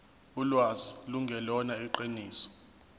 ulwazi lungelona iqiniso